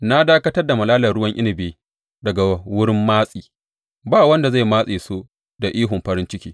Na dakatar da malalar ruwan inabi daga wurin matsi; ba wanda zai matse su da ihun farin ciki.